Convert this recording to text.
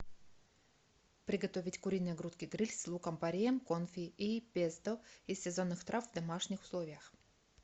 приготовить куриные грудки гриль с луком пореем конфи и песто из сезонных трав в домашних условиях